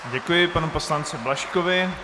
Děkuji panu poslanci Blažkovi.